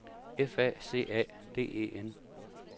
F A C A D E N